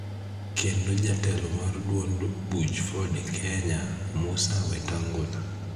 kendo jatelo mar duond buch Ford kenya, Musa Wetangula